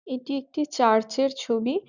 এটি একটি চার্চ -এর ছবি ।